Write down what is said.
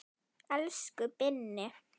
Elsku Binni.